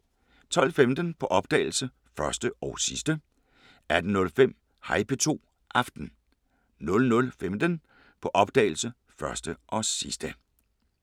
12:15: På opdagelse – Første og sidste 18:05: Hej P2 – Aften 00:15: På opdagelse – Første og sidste *